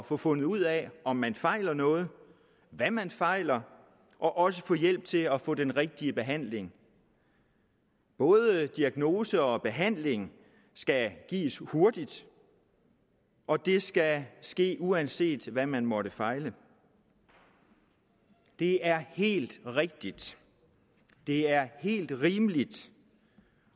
få fundet ud af om man fejler noget hvad man fejler og også få hjælp til at få den rigtige behandling både diagnose og behandling skal gives hurtigt og det skal ske uanset hvad man måtte fejle det er helt rigtigt det er helt rimeligt